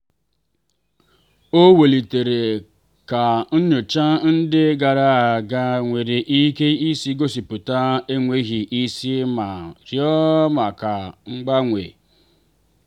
ọ welitere ka nyocha ndị gara aga nwere ike isi gosipụta enweghị isi ma rịọ maka mgbanwe.